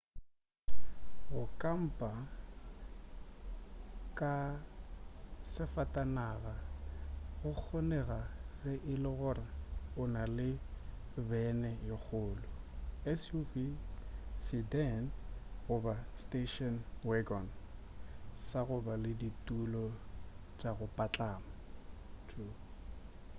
go kampa ka safatanaga go kgonega ge e le gore o na le bene ye kgolo suv sedan goba station wagon sa go ba le ditulo tša go patlama